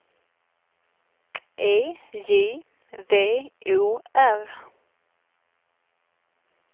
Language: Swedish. E J V O R